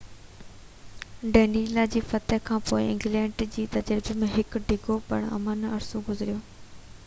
ڊينلا جي فتح کان پوءِ انگلينڊ جي تجربي ۾ هڪ ڊگهو پُر امن عرصو گذريو